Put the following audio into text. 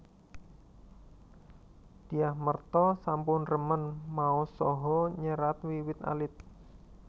Dyah Merta sampun remen maos saha nyerat wiwit alit